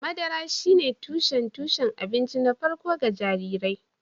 Madara shine tushen tushen abinci na farko ga jarirai